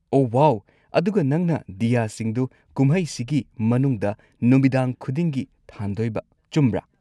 ꯑꯣꯍ ꯋꯥꯎ꯫ ꯑꯗꯨꯒ ꯅꯪꯅ ꯗꯤꯌꯥꯁꯤꯡꯗꯣ ꯀꯨꯝꯍꯩꯁꯤꯒꯤ ꯃꯅꯨꯡꯗ ꯅꯨꯃꯤꯗꯥꯡ ꯈꯨꯗꯤꯡꯒꯤ ꯊꯥꯟꯗꯣꯏꯕ, ꯆꯨꯝꯕ꯭ꯔꯥ?